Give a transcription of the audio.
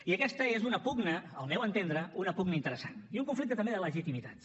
i aquesta és una pugna al meu entendre interessant i un conflicte també de legitimitats